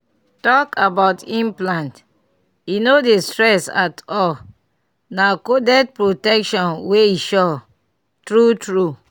talk about implant e no dey stress at all — na coded protection wey suresmall pause true true small pause.